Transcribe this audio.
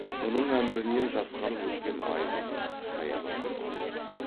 мұның әмірінен жасқанып өскен айғыз саябырлап қалды